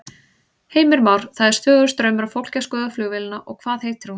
Heimir Már: Það er stöðugur straumur af fólki að skoða flugvélina og hvað heitir hún?